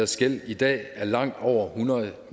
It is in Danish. gæld i dag er langt over hundrede